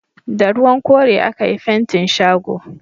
Da ruwan kore a ka yi fentin shago